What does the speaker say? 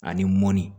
Ani mɔni